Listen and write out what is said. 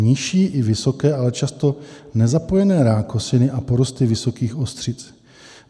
Nižší i vysoké, ale často nezapojené rákosiny a porosty vysokých ostřic.